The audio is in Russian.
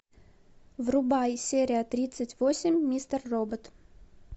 врубай серия тридцать восемь мистер робот